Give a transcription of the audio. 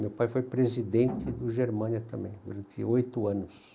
Meu pai foi presidente do Germânia também, durante oito anos.